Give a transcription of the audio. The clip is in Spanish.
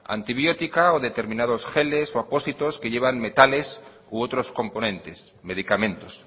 antibiótica o determinados geles o apósitos que llevan metales u otros componentes medicamentos